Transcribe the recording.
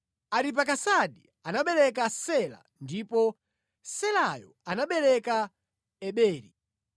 Aripakisadi anabereka Sela ndipo Selayo anabereka Eberi: